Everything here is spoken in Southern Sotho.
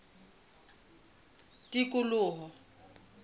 tikoloho